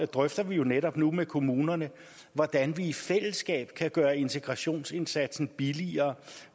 drøfter vi jo netop nu med kommunerne hvordan vi i fællesskab kan gøre integrationsindsatsen billigere